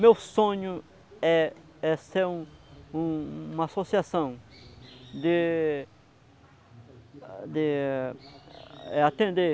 Meu sonho é, é ser um, uma associação de atender